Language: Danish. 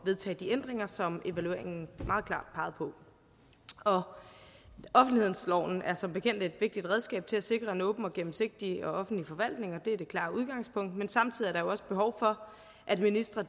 vedtage de ændringer som evalueringen meget klart pegede på offentlighedsloven er som bekendt et vigtigt redskab til at sikre en åben og gennemsigtig offentlig forvaltning det er det klare udgangspunkt men samtidig er der jo også behov for at ministre